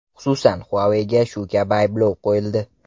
Xususan, Huawei’ga shu kabi ayblov qo‘yildi.